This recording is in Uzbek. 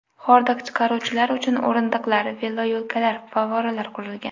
Hordiq chiqaruvchilar uchun o‘rindiqlar, veloyo‘laklar, favvoralar qurilgan.